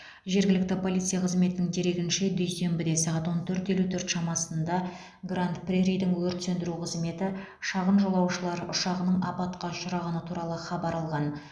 жергілікті полиция қызметінің дерегінше дүйсенбіде сағат он төрт елу төрт шамасында гранд преридің өрт сөндіру қызметі шағын жолаушылар ұшағының апатқа ұшырағаны туралы хабар алған